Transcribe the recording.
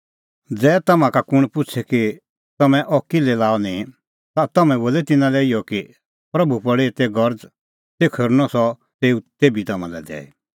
ज़ै तम्हां का कुंण पुछ़े कि तम्हैं अह किल्है लाअ निंईं ता तम्हैं बोलै तिन्नां लै इहअ कि प्रभू पल़ी एते गरज़ तेखअ हेरनअ सह तेऊ तेभी तम्हां लै दैई